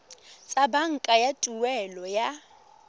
tsa banka tsa tuelo ya